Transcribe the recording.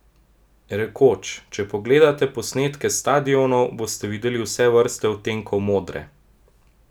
Rekoč: "Če pogledate posnetke s stadionov, boste videli vse vrste odtenkov modre.